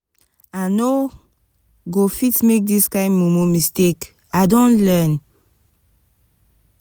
i no go fit make dis kain mumu mistake i don learn.